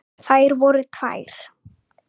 Þær voru tvær.